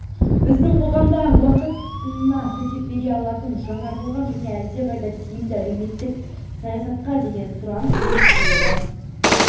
біздің қоғамда уақыт сынына төтеп бере алатын жаңартылған және әлдеқайда тиімді әлеуметтік саясатқа деген сұраныс өсіп келеді